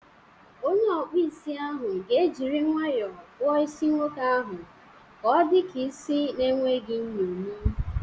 Onye ọkpụ isi ahụ ga ejiri nwayọọ kpụọ isi nwoke ahụ ka ọdika isi na enweghị nyomi.